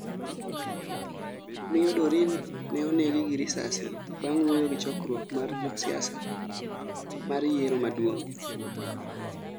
Miyo Doreen ne onegi gi risasi bang wuoyo gi chokruok mar josiasa mar yiero maduong'